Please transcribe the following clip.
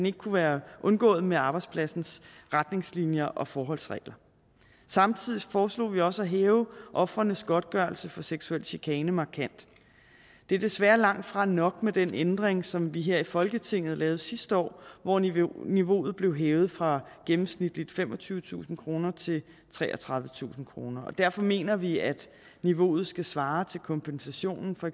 ikke kunne være undgået med arbejdspladsens retningslinjer og forholdsregler samtidig foreslog vi også at hæve ofrenes godtgørelse for seksuel chikane markant det er desværre langtfra nok med den ændring som vi her i folketinget lavede sidste år hvor niveauet niveauet blev hævet fra gennemsnitligt femogtyvetusind kroner til treogtredivetusind kroner derfor mener vi at niveauet skal svare til kompensationen for